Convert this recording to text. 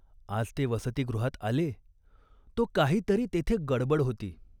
आज ते वसतिगृहात आले, तो काही तरी तेथे गडबड होती.